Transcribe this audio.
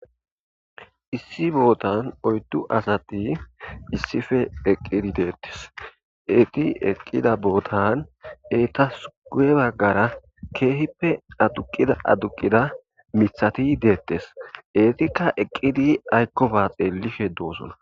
issi bootan oyddu asati issife eqqidi deettes eeti eqqida bootan etasugue baggara keehippe aduqida aduqida mithati deettes etikka eqqidi aykko baa xeelife doosona